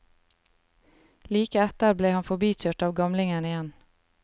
Like etter ble han forbikjørt av gamlingen igjen.